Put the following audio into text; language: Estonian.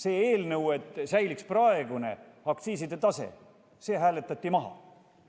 See eelnõu, mille kohaselt säiliks praegune aktsiiside tase, hääletati maha.